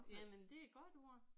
Jamen det er et godt ord